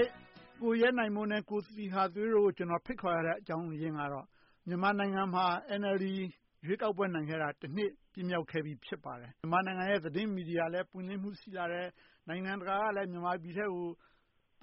ေ့ ကိုရဲနိုင်မိုး နဲ့ ကိုသီဟသွေးတို့ကို ကျနော် ဖိတ်ခေါ်ရတဲ့ အကြောင်းရင်းကတော့ မြန်မာနိုင်ငံမှာ NLD ရွေးကောက်ပွဲနိုင်ခဲ့တာ တနှစ်ပြည့်မြောက်ခဲ့ပြီ ဖြစ်ပါတယ်။ မြန်မာနိုင်ငံရဲ့ သတင်းမီဒီယာလည်း ပွင့်လင်းမြင်သာမှု ရှိလာတယ်။ နိုင်ငံတကာကလည်း မြန်မာပြည်ထဲကို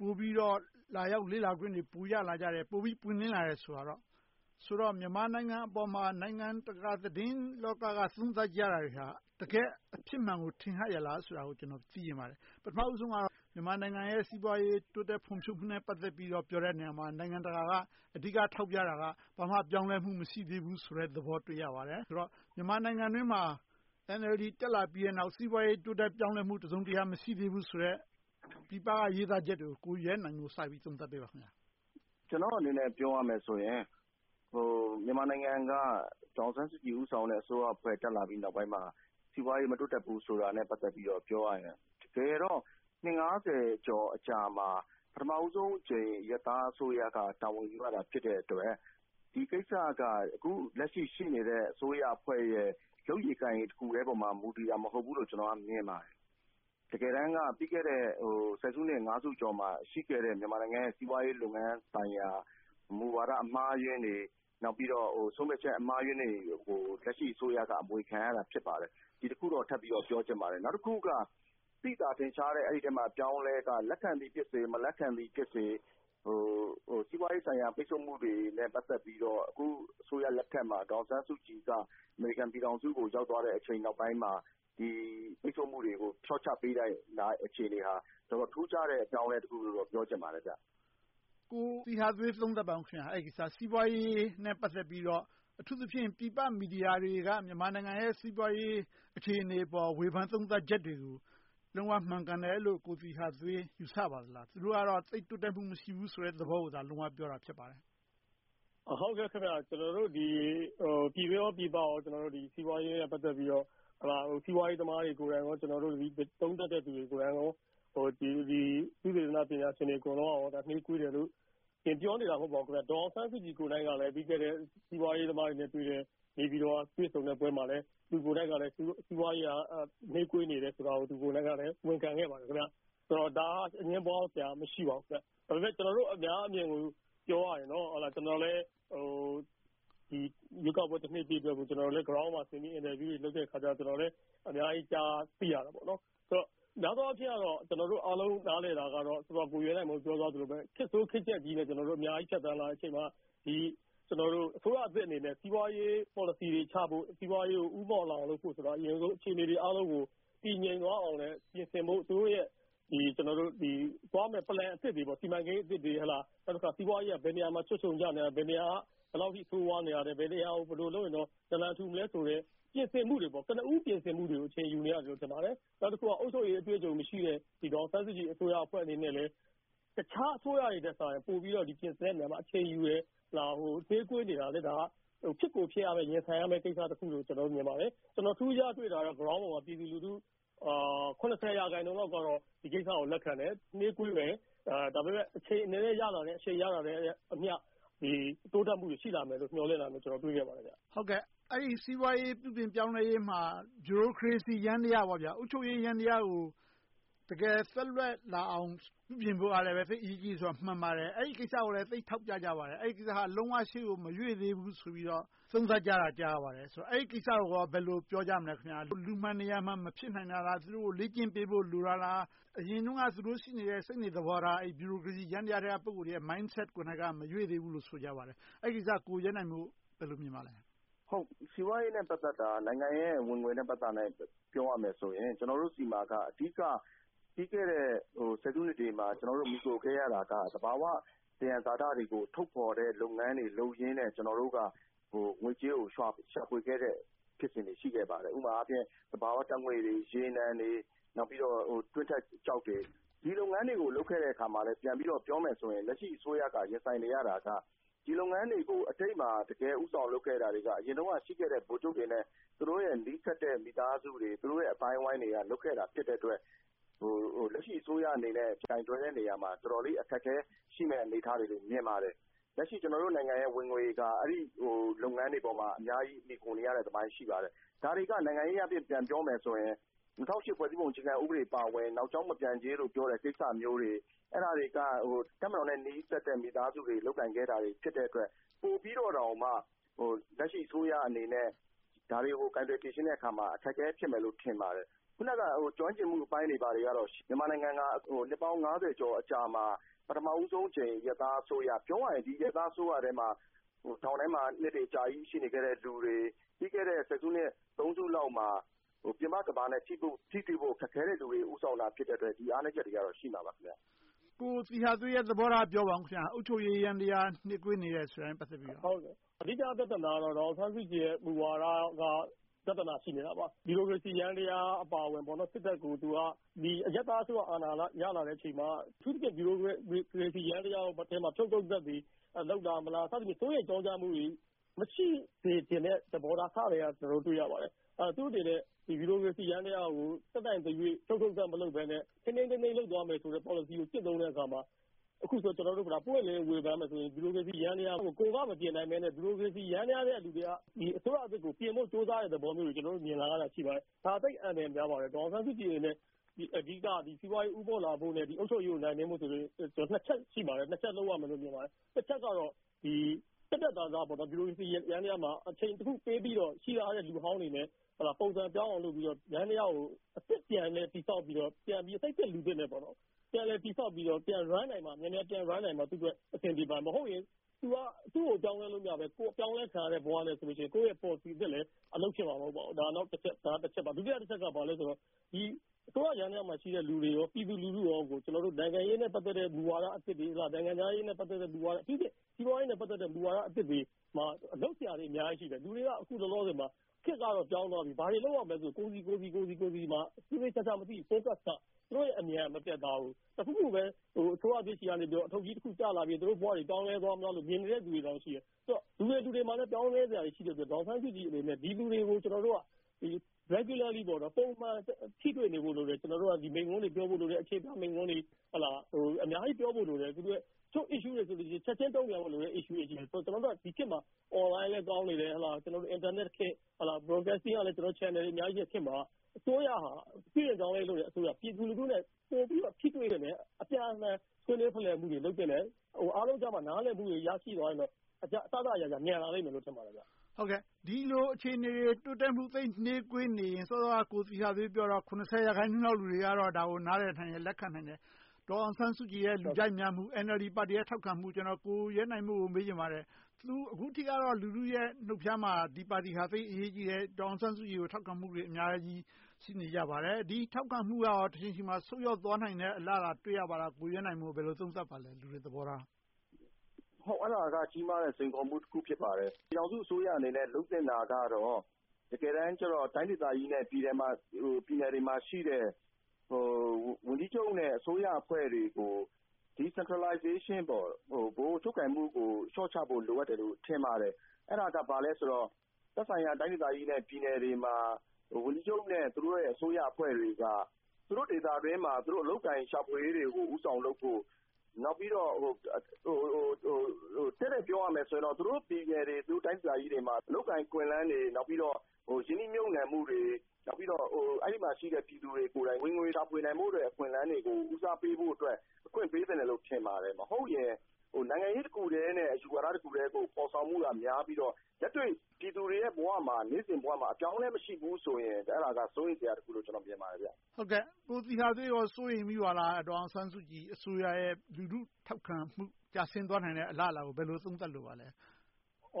ပိုပြီးတော့ လာရောက်လေ့လာခွင့်တွေ ပိုရလာကြတယ်။ ပိုပွင့်လင်းလာကြတယ်ဆိုတော့ မြန်မာနိုင်ငံပေါ်မှာ နိုင်ငံတကာသတင်းလောက က သုံးသပ်ကြတာတွေဟာ တကယ်အဖြစ်မှန်ကို ထင်ဟပ်ရဲ့လားဆိုတာကို ကျနော် သိချင်ပါတယ်။ ပထမဦးဆုံးကတော့ မြန်မာနိုင်ငံရဲ့ စီးပွားရေး တိုးတက်ဖွံ့ဖြိုးမှုနဲ့ ပတ်သက်ပြီးတော့ ပြောတဲ့နေရာမှာ နိုင်ငံတကာက အဓိက ထောက်ပြတာက ဘာမှပြောင်းလဲမှု မရှိသေးဘူးဆိုတဲ့သဘောတွေ့ရပါတယ်။ ဆိုတော့ မြန်မာနိုင်ငံအတွင်းမှာ NLD တက်လာပြီးနောက် စီးပွားရေး တိုးတက်ပြောင်းလဲမှု တစုံတရာ မရှိသေးဘူးဆိုတဲ့ ပြည်ပက ရေးသားချက်တွေကို ကိုရဲနိုင်မိုး စပြီးသုံးသပ်ပေးပါ။ ကျနော်အနေနဲ့ ပြောရမယ်ဆိုရင် မြန်မာနိုင်ငံက ဒေါ်အောင်ဆန်းစုကြည် ဦးဆောင်တဲ့ အစိုးရအဖွဲ့ တက်လာပြီးနောက်ပိုင်းမှာ စီးပွားရေး မတိုးတက်ဘူးဆိုတာနဲ့ ပတ်သက်ပြီးပြောရရင် တကယ်တော့ နှစ် ကျော်အကြာမှာ ပထမဦးဆုံးအကြိမ် အရပ်သားအစိုးရက တာဝန်ယူရတာ ဖြစ်တဲ့အတွက် ဒီကိစ္စက အခုလက်ရှိ ရှိနေတဲ့အစိုးရ အဖွဲ့ရဲ့ လုပ်ရည်ကိုင်ရည်တခုတည်းပေါ်မှာ မူတည်တာ မဟုတ်ဘူးလို့ ကျနော်က မြင်ပါတယ်။ တကယ်တမ်းက ပြီးခဲ့တဲ့ ဆယ်စုနှစ် ငါးစုအကျော်မှာ ရှိခဲ့တဲ့ စီးပွားရေးလုပ်ငန်းဆိုင်ရာ မူဝါဒအမှားအယွင်းတွေ၊ နောက်ပြီးတော့ ဆုံးဖြတ်ချက် အမှားအယွင်းတွေကို လက်ရှိ အစိုးရက အမွေခံရတာ ဖြစ်ပါတယ်။ ဒီတခုတော့ ထပ်ပြီးတော့ ပြောချင်ပါတယ်။ နောက်တခုက သိသာထင်ရှားတဲ့ အပြောင်းအလဲက လက်ခံသည်ဖြစ်စေ၊ လက်မခံသည်ဖြစ်စေ စီးပွားရေးဆိုင်ရာ ပိတ်စို့မှုတွေနဲ့ ပတ်သက်ပြီးတော့ အခု အစိုးရလက်ထက်မှာ ဒေါ်အောင်ဆန်းစုကြည် က အမေရိကန်ပြည်ထောင်စုကို ရောက်သွားတဲ့အချိန်နောက်ပိုင်းမှာ ပိတ်စို့မှုတွေကို လျှော့ချပေးလိုက်တဲ့ အခြေအနေဟာ တော်တော်ထူးခြားတဲ့ အပြောင်းအလဲတခုလို့တော့ ပြောချင်ပါတယ်။ ကိုသီဟသွေး သုံးသပ်ပါအုံး။ အဲဒီကိစ္စ စီးပွားရေးနဲ့ ပတ်သက်ပြီးတော့ အထူးသဖြင့် ပြည်ပမီဒီယာတွေက မြန်မာနိုင်ငံရဲ့ စီးပွားရေးအခြေအနေအပေါ် ဝေဖန်သုံးသပ်ချက်တွေကို လုံးဝမှန်ကန်တယ်လို့ ကိုသီဟသွေး ယူဆပါလား။ သူတို့ကတော့ သိပ်တိုးတက်မှု မရှိဘူးဆိုတာကို လုံးဝပြောတာ ဖြစ်ပါတယ်။ ပြည်တွင်းပြည်ပ စီးပွားရေးနဲ့ ပတ်သက်ပြီးတော့ စီးပွားရေးသမားတွေကိုယ်တိုင်နဲ့ သုံးသပ်သူတွေ၊ သုတေသနပညာရှင်တွေအားလုံးက နှေးကွေးတယ်လို့ ပြောနေတာ မဟုတ်ပါဘူး ဒေါ်အောင်ဆန်းစုကြည်ကိုယ်တိုင် ပြီးခဲ့တဲ့ စီးပွားရေးသမားတွေနဲ့ တွေ့ဆုံပွဲမှာ သူကိုယ်တိုင်က စီးပွားရေးမှာ နှေးကွေးတယ်ဆိုတာကို ဝန်ခံခဲ့ပါတယ်။ ဆိုတော့ ဒါက အငြင်းပွားစရာ မရှိပါဘူး။ ဒါပေမဲ့ ကျနော်တို့ အများအမြင်ကို ပြောရရင်တော့ ကျနော်လည်း ရွေးကောက်ပွဲတနှစ်ပြည့်ကို Ground ကိုဆင်းပြီး အင်တာဗျူးတွေ လုပ်တဲ့အခါ အများကြီး ကြားသိရတယ်။ များသောအားဖြင့်တော့ ကျနော်တို့ အားလုံးနားလည်တာကတော့ အခုန ကိုရဲနိုင်မိုး ပြောသွားသလိုပဲ ခေတ်ဆိုးခေတ်ပျက်ကြီးနဲ့ ကျနော်တို့ အများကြီး ဖြတ်သန်းချိန်မှာ အစိုးရသစ်အနေနဲ့ စီးပွားရေးပေါ်လစီတွေချဖို့၊ စီးပွားရေးကို ဦးမော့လာဖို့ အရင်ဆုံး အခြေအနေတွေအားလုံးကို တည်ငြိမ်သွားအောင်လဲ ပြင်ဆင်ဖို့ သူတို့ရဲ့ သွားမယ် Plan စီမံကိန်းအသစ်တွေ။ နောက်တခါ စီးပွားရေးက ဘယ်နေရာမှာ ချွတ်ခြုံကျနေသလဲ။ ဘယ်လောက်အထိ ဆိုးဝါးနေသလဲ။ ဘယ်နေရာကို ဘယ်လိုလုပ်ရင် နလံထူနိုင်မလဲဆိုတဲ့ ပြင်ဆင်မှုတွေ ကနဦး ပြင်ဆင်မှုတွေကို အချိန်ယူနေရတယ်လို့ ထင်ပါတယ်။ နောက်တခုက အုပ်ချုပ်ရေးအတွေ့အကြုံမရှိတဲ့ ဒေါ်အောင်ဆန်းစုကြည် အစိုးရအဖွဲ့အနေနဲ့လဲ တခြားအစိုးရတွေထက်စာရင် ပိုပြီးတော့ ပြင်ဆင်တဲ့နေရာမှာ အချိန်ယူတယ်။ နှေးကွေးနေတာကလဲ ဖြစ်ကိုဖြစ်ရမယ်၊ ရင်ဆိုင်ရမယ့်ကိစ္စတခုလို့ မြင်ပါတယ်။ ကျနော် ထူးထူးခြားခြား တွေ့တာကတော့ ပြည်သူလူထု ရာခိုင်နှုန်းလောက်ကတော့ ဒီကိစ္စကို လက်ခံတယ်။ နှေးကွေးမယ်။ ဒါပေမဲ့ အချိန်နည်းနည်းရလာတာနဲ့အမျှ တိုးတက်မှုတွေ ရှိလာမယ်လို့ မျှော်လင့်နေတာကို တွေ့ရပါတယ်။ စီးပွားရေး ပြုပြင်ပြောင်းလဲရေးမှာ ဗျူရိုကရေစီယန္တရား အုပ်ချုပ်ရေးယန္တရားကို တကယ်သွက်လက်လာအောင် ပြုပြင်ဖို့ကလည်း သိပ်အရေးကြီးတယ်ဆိုတာ မှန်ပါတယ်။ ဒီကိစ္စကိုလည်း ထောက်ပြကြပါတယ်။ ဒီကိစ္စက လုံးဝရှေ့ကို မရွေ့သေးဘူးလို့ သုံးသပ်ကြတာ ကြားပါတယ်။ အဲဒီကိစ္စကို ဘယ်လို ပြောကြမလဲ။ လူမှန်နေရာမှန် မဖြစ်နိုင်တာလား။ သူတို့ကို လေ့ကျင့်ပေးဖို့ လိုတာလား။ အရင်တုန်းက သူတို့ရှိနေတဲ့ စိတ်နေသဘောထား၊ ဗျူရိုကရေစီယန္တရားထဲက ပုဂ္ဂိုလ်တွေရဲ့ Mindset ကိုယ်က မရွေ့သေးဘူးလို့ ဆိုကြပါတယ်။ အဲဒီကိစ္စကို ကိုရဲနိုင်မိုး ဘယ်လို မြင်ပါလဲ။ စီးပွားရေးနဲ့ ပတ်သက်တာ နိုင်ငံရဲ့ ဝင်ငွေနဲ့ ပြောရမယ်ဆိုရင် ကျနော်တို့ဆီမှာက အဓိက ပြီးခဲ့တဲ့ ဆယ်စုနှစ်တွေမှာ မှီခိုခဲ့ရတာက သဘာဝသယံဇာတတွေကို ထုတ်ဖော်တဲ့လုပ်ငန်းတွေ လုပ်ရင်းနဲ့ ကျနော်တို့က ငွေကြေးကို ရှာဖွေခဲ့တဲ့ ဖြစ်စဉ်တွေ ရှိခဲ့ပါတယ်။ ဥပမာအားဖြင့် သဘာဝဓါတ်ငွေ့တွေ၊ ရေနံတွေ၊ တွင်းထွက်ကျောက်တွေ၊ ဒီလုပ်ငန်းတွေကို လုပ်ခဲ့တာကို ပြန်ပြီးတော့ ပြောမယ်ဆိုရင် လက်ရှိ အစိုးရက ရင်ဆိုင်နေရတာက ဒီလုပ်ငန်းတွေကို ထိပ်မှာ တကယ့်ဦးဆောင်လုပ်ခဲ့သူတွေက အရင်တုန်းက ရှိခဲ့တဲ့ ဗိုလ်ချုပ်တွေနဲ့ သူတို့နဲ့ နီးစပ်တဲ့ မိသားစုတွေ၊ သူတို့ရဲ့ အသိုင်းအဝိုင်းတွေက လုပ်ခဲ့တာ ဖြစ်တဲ့အတွက် လက်ရှိအစိုးရအနေနဲ့ ကိုင်တွယ်တဲ့နေရာမှာ တော်တော်လေး အခက်အခဲတွေ ရှိမယ်လို့ မြင်ပါတယ်။ လက်ရှိ ကျနော်တို့နိုင်ငံရဲ့ ဝင်ငွေက လက်ရှိ လုပ်ငန်းတွေအပေါ် အများကြီး မှီခိုနေရတာတပိုင်း၊ ဒါတွေက နိုင်ငံရေးအားဖြင့် ပြန်ပြောမယ်ဆိုရင် ၂၀၀၈ ဖွဲ့စည်းပုံအခြေခံဥပဒေ အပါအဝင် နောက်ကြောင်းမပြန်ကြေးကိစ္စမျိုးတွေ၊ ဒီကိစ္စတွေက တပ်မတော်နဲ့ နီးစပ်တဲ့ မိသားစုတွေ လုပ်ကိုင်ခဲ့တာ ဖြစ်တဲ့အတွက် ပိုပြီးတော့တောင်မှ လက်ရှိ အစိုးရအနေနဲ့ ဒါတွေကို ကိုင်တွယ်ဖြေရှင်းတဲ့အခါ အခက်အခဲဖြစ်မယ်လို့ ထင်ပါတယ်။ အခုနက ကျွမ်းကျင်မှုအပိုင်းတွေကတော့ မြန်မာနိုင်ငံဟာ နှစ်ပေါင်း ကျော်အကြာမှာ ပထမဦးဆုံးအကြိမ် အရပ်သားအစိုးရ ပြောရရင် ဒီအရပ်သားအစိုးရထဲမှာ ထောင်ထဲမှာ နှစ်တွေအများကြီး ရှိခဲ့တဲ့လူ။ ပြီးခဲ့တဲ့ ဆယ်စုနှစ် စုလောက်မှာ ပြင်ပကမ္ဘာနဲ့ ထိတွေ့ဖို့ ခက်ခဲတဲ့လူတွေ ဦးဆောင်နေရတဲ့အတွက် ဒီအားနည်းတွေကတော့ ရှိမှာပါ။ ကိုသီဟသွေးရဲ့ သဘောထားကို ပြောပါအုံး။ အုပ်ချုပ်ရေးယန္တရား နှေးကွေးနေတယ် ဆိုတာနဲ့ ပတ်သက်ပြီလို့။ အဓိက ပြဿနာကတော့ ဒေါ်အောင်ဆန်းစုကြည်ရဲ့ မူဝါဒက ပြဿနာ ရှိနေတာပါ။ ဗျူရိုကရေစီယန္တရားအပါအဝင် စစ်တပ်ကို အရပ်သားအစိုးရ အာဏာရလာချိန်မှာ အထူးသဖြင့် ဗျူရိုကရေစီယန္တရားထဲမှာ ဖြုတ်ထုတ်သက်သေ ရှိလားမလား။ သူတို့ရဲ့ ကြောင်ကြားမှုတွေ မရှိစေချင်တဲ့သဘောထား အစကတည်းက တွေ့မြင်နေရပါတယ်။ သူ့အနေနဲ့ ဗျူရိုကရေစီယန္တရားကို တတ်နိုင်သရွေ့ ဖြုတ်ထုတ်သတ် မလုပ်ဘဲနဲ့ ထိန်းထိန်းသိမ်းသိမ်း လုပ်သွားမယ်ဆိုတဲ့ ပေါ်လစီကို ကျင့်သုံးတဲ့အခါ အခုဆိုရင် ကျနော်တို့ ပွင့်ပွင့်လင်းလင်း ဝေဖန်ရမယ်ဆိုရင် ဗျူရိုကရေစီယန္တရားကို ကိုယ်ကမပြင်နိုင်သေးမယ့် ဒီမိုကရေစီ… နေသူတွေက အစိုးရသစ်ကို ပြင်ဖို့သဘောမျိုးကို မြင်လာရတာ ရှိပါတယ်။ ဒါ သိပ်အန္တရာယ်များပါတယ်။ ဒေါ်အောင်ဆန်းစုကြည်ရဲ့ အဓိက စီးပွားရေးဦးေးမာ့လာဖို့နဲ့ အုပ်ချုပ်ရေးကို နိုင်နင်းဖို့ဆိုရင် နှစ်ချက်ရှိပါတယ်။ တချက်ကတော့ ပြတ်ပြတ်သားသား ဒီ ဗျူရိုကရေစီယန္တရားကို အချိန်တခုပေးပြိလို့ ရှိထားတဲ့ လူဟောင်းတွေနဲ့ ပုံစံပြောင်းအောင် လုပ်ပြီးတော့ ယန္တရားကို ပြန်လည်တည်ဆောက်ပြီးတော့ စိတ်သစ်လူသစ်နဲ့ ပြန်လည်တည်ဆောက်ပြီး မြန်မြန်ပြန် Run နိုင်မှ သူ့အတွက် အဆင်ပြေမှာ။ မဟုတ်ရင် သူကို ပြောင်းလဲလို့ မရဘဲ၊ ကိုယ်ပြောင်းလဲခံရတဲ့ ဘဝနဲ့ဆိုရင် ကိုယ့်ရဲ့ ပေါ်လစီသစ်လဲ အလုပ်ဖြစ်မှာ မဟုတ်ပါဘူး။ ဒုတိယတချက်က ဘာလဲဆိုတော့ အစိုးရယန္တရားမှာရှိတဲ့ လူတွေနဲ့ ပြည်သူလူထုကို နိုင်ငံရေးနဲ့ ပတ်သက်တဲ့ မူဝါဒတွေ၊ နိုင်ငံခြားရေးနဲ့ ပတ်သက်တဲ့ မူဝါဒအသစ်တွေ - အထူးသဖြင့် စီးပွားရေးနဲ့ ပတ်သက်တဲ့ မူဝါဒတွေမှာ လုပ်စရာတွေ အများကြီးရှိတယ်။ လူတွေက အခုလောလောဆယ်မှာ ခေတ်ကတော့ ပြောင်းသွားပြီ။ ဘာတွေလုပ်ရမလဲဆိုတာကို ကိုယ်စီမှာ သေသေချာချာ မသိဘူး။ သူတို့အမြင်က မပြတ်သားဘူး။ တခုခုပဲ အစိုးရသစ်ဆီက အထုပ်ကြီးတခု ကျလာပြီး သူတို့ဘဝ ပြောင်းလဲသွားမလားလို့ မြင်နေတဲ့လူတွေတောင် ရှိတယ်။ လူတွေလူတွေမှာလည်း ပြောင်းလဲစရာတွေ ရှိတဲ့အတွက် ဒေါ်အောင်ဆန်းစုကြည်အနေနဲ့ ဒီလူတွေကို ကျနော်တို့က Regularly ပုံမှန် ထိတွေ့နေဖို့လိုတယ်။ မိန့်ခွန်းတွေပြောဖို့ လိုတယ်။ အခြေပြမိန့်ခွန်းတွေ အများကြီး ပြောဖို့လိုတယ်။ တချို့ issue တွေဆိုရင် ချက်ချင်းတုံ့ပြန်ရမယ်။ ကျနော်တို့က ဒီခေတ်မှာ အွန်လိုင်းလည်း ကောင်းနေတယ်။ အင်တာနက်ခေတ်။ Broadcasting ပိုင်းကလဲ Channels တွေ အများကြီးရှိတဲ့ခေတ်မှာ ပြုပြင်ပြောင်းလဲရေး လုပ်နေတဲ့အစိုးရက ပြည်သူနဲ့ ပိုပြီးထိတွေ့ရမယ်။ အပြန်အလှန် ဆွေးနွေးဖလှယ်မှုတွေ လုပ်သင့်တယ်။ နောက်ဆုံး နားလည်မှုတွေ ရရှိသွားရင်တော့ အစစအရာရာ မြန်လာလိမ့်မယ်လို့ ထင်ပါတယ်။ ဒီလိုအခြေအနေတွေ တိုးတက်မှု သိပ်နှေးကွေးနေရင် စောစောက ကိုသီဟသွေး ပြောတော့ ၇၀ ရာခိုင်နှုန်း လူတွေက ဒါကို နားလည်နိုင်တယ်။ လက်ခံနိုင်တယ်။ ဒေါ်အောင်ဆန်းစုကြည်ရဲ့ လူကြိုက်များမှု။ NLD ပါတီရဲ့ ထောက်ခံမှု။ ကျနော် ကိုရဲနိုင်မိုး ကို မေးချင်ပါတယ်။ သူက အခုထိတော့ လူထုရဲ့ နှုတ်ဖျားမှာ ဒီပါတီက သိပ်အရေးကြီးတယ်။ ဒေါ်အောင်ဆန်းစုကြည်ကို ထောက်ခံမှုတွေ အများကြီး ရှိနေကြပါတယ်။ ဒီထောက်ခံမှုက တချိန်ချိန်မှာ ဆုတ်ယုတ်သွားနိုင်မယ့် အလားအလာ တွေ့ရပါသလား။ ကိုရဲနိုင်မိုး ဘယ်လို သုံးသပ်ပါလဲ။ လူတွေရဲ့ သဘောထား။ အဲဒါက ကြီးမားတဲ့ စိန်ခေါ်မှုတခု ဖြစ်ပါတယ်။ ပြည်ထောင်စုအစိုးရအနေနဲ့ လုပ်သင့်တာကတော့ တကယ်တမ်းကြတော့ တိုင်းဒေသကြီးနဲ့ ပြည်နယ်တွေမှာရှိတဲ့ ဝန်ကြီးချုပ်နဲ့ အစိုးရအဖွဲ့တွေကို Decentralization ဗဟိုချုပ်ကိုင်မှုကို လျှော့ချဖို့ လိုအပ်တယ်လို့ ထင်ပါတယ်။ အဲဒါက ဘာလဲဆိုတော့ သက်ဆိုင်ရာ တိုင်းဒေသကြီးနဲ့ ပြည်နယ်တွေမှာ ဝန်ကြီးချုပ်နဲ့ သူတို့ရဲ့ အစိုးရအဖွဲ့တွေက သူတို့ဒေသအတွင်းမှာ အလုပ်အကိုင်ရှာဖွေရေးတွေကို ဦးဆောင်လုပ်ဖို့။ နောက်ပြီးတော့ တည့်တည့်ပြောရမယ်ဆိုရင်တော့ သူတို့ပြည်နယ်တွေ၊ တိုင်းဒေသကြီးတွေမှာ အလုပ်အကိုင် အခွင့်အလမ်းတွေ၊ နောက်ပြီးတော့ ရင်းနှီးမြုပ်နံှမှုတွေ၊ ပြီးတော့ အဲဒီမှာရှိတဲ့ ပြည်သူတွေကိုယ်တိုင် ဝင်ငွေရှာဖွေနိုင်မယ့် အခွင့်အလမ်းတွေကို ဦးစားပေးဖို့အတွက် အခွင့်ပေးသင့်တယ်လို့ ထင်ပါတယ်။ မဟုတ်ရင် နိုင်ငံရေးတခုတည်းနဲ့ အယူဝါဒတခုတည်းကို ဖော်ဆောင်မှုက များပြီးတော့ လက်တွေ့ပြည်သူတွေရဲ့ ဘဝမှာ နေ့စဉ်ဘဝမှာ အပြောင်းအလဲ မရှိဘူးဆိုရင် အဲဒါက စိုးရိမ်စရာတခုလို့ မြင်ပါတယ်။ ကိုသီဟသွေး စိုးရိမ်မိပါလား။ ဒေါ်အောင်ဆန်းစုကြည်အစိုးရရဲ့ လူထုထောက်ခံမှု ကျဆင်းသွားနိုင်မယ့် အလားအလာကို ဘယ်လို သုံးသပ်လိုပါလဲ။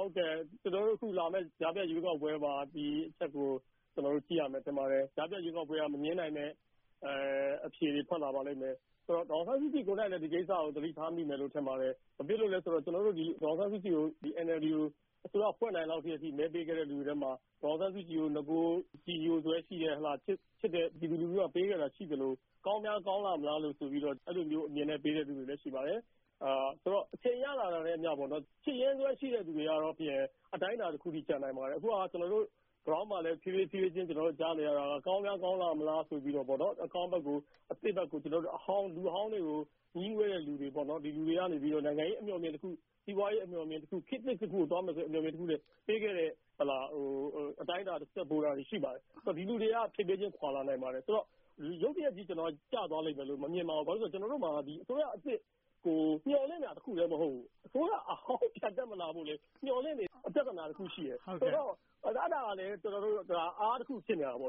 လာမယ့်ကြားဖြတ်ရွေးကောက်ပွဲမှာ ဒီအချက်ကို ကျနော်တို့ ကြည့်ရမယ် ထင်ပါတယ်။ ကြားဖြတ်ရွေးကောက်ပွဲက မငြင်းနိုင်တဲ့ အဖြေတွေ ထွက်လာပါလိမ့်မယ်။ ဆိုတော့ ဒေါ်အောင်ဆန်းစုကြည်ကိုယ်တိုင်လဲ ဒီကိစ္စကို သတိထားမိမယ် ထင်ပါတယ်။ ဘာဖြစ်လို့လဲဆိုတော့ ဒေါ်အောင်ဆန်းစုကြည်ကို NLD ကို အစိုးရ ဖွဲ့နိုင်သည်လောက်အထိ မဲပေးခဲ့တဲ့လူတွေထဲမှာ ဒေါ်အောင်ဆန်းစုကြည်ကို ပုဂ္ဂိုလ်ကြည်ညိုစွဲရှိတဲ့၊ ချစ်လို့ ပြည်သူလူထုက ပေးခဲ့သလို၊ ကောင်းများကောင်းလာမလားဆိုပြီး အဲဒီလိုမျိုး အမြင်နဲ့ ပေးတဲ့လူတွေလည်း ရှိပါတယ်။ ဆိုတော့ အချိန်ရလာတာနဲ့အမျှ ချစ်တဲ့သူတွေကတော့ အတိုင်းအတာတခုတော့ ကျန်ပါလိမ့်မယ်။ အခုက Ground မှာလဲ ဖြည်းဖြည်းချင်း ကြားနေရတာကတော့ ကောင်းများကောင်းလာမလားဆိုပြီးတော့ အကောင်းဘက်၊ အသစ်ဘက်ကို အဟောင်းတွေ၊ လူဟောင်းတွေကို နိုင်ငံရေးအမြင်တခု၊ စီးပွားရေးအမြင်တခု ပေးခဲ့တာတွေ ရှိပါတယ်။ ဒီလူတွေက ဖြည်းဖြည်းချင်း ခွါနိုင်ပါတယ်။ ရုတ်တရက်ကြီး ကျသွားလိမ့်မယ်လို့ မမြင်ပါဘူး။ ဘာဖြစ်လို့လဲဆိုတော့ ကျနော်တို့မှာ အစိုးရသစ်ကို မျှော်လင့်တာတခုတည်း မဟုတ်ဘူး။ အစိုးရဟောင်း ပြန်မတက်လာဖို့လဲ မျှော်လင့်နေတဲ့ ပြဿနာတခုရှိတယ်။ ဆိုတော့ အဲဒါကလဲ အားတခု ဖြစ်နေတာပေါ့